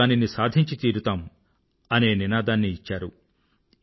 మేము దానిని సాధించి తీరతాం అనే నినాదాన్ని ఇచ్చారు